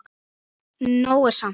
Nóg er samt.